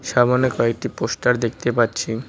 সামোনে কয়েকটি পোস্টার দেখতে পাচ্ছি।